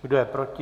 Kdo je proti?